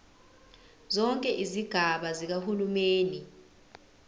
zonke izigaba zikahulumeni